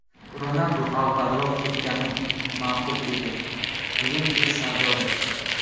Ronaldu avvalroq ketgani ma’qul edi – "Yuventus" sardori.